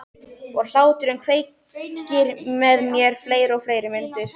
Og hláturinn kveikir með mér fleiri og fleiri myndir.